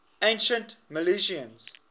ancient milesians